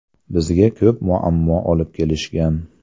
Bizga ko‘p muammo olib kelishgan.